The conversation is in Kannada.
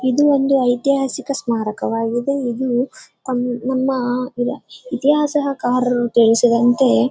ಇದು ಒಂದು ಐತಿಹಾಸಿಕ ಸ್ಮಾರಕವಾಗಿದೆ. ಇದು ನಮ್ಮ ಇತಿಹಾಸಗಾರರು ತಿಳಿಸಿದಂತೆ--